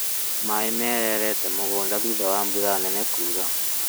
Maaĩ marereete mũgũnda thutha wa mbura nene kuura